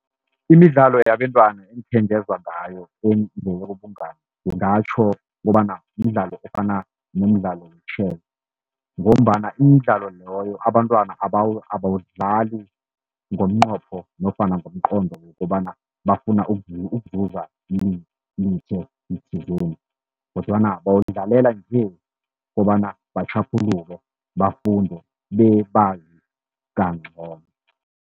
Imidlalo yabentwana engikhe ngezwa ngayo ekungeyobungani ngingatjho kobana mdlalo ofana nomdlalo we-chess, ngombana imidlalo loyo abantwana abawudlali ngomnqopho nofana ngomqondo wokobana bafuna ukuzuza thizeni. Kodwana bawudlalela nje kobana batjhaphuluke, bafunde bebazi kancono.